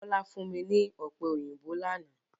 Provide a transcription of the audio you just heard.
Bọ́lá fún mi ní Ọ̀pẹ òyìnbó lánàá